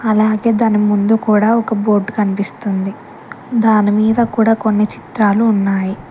అలాగే దాని ముందు కూడా ఒక బోర్డు కనిపిస్తుంది దానిమీద కూడా కొన్ని చిత్రాలు ఉన్నాయి.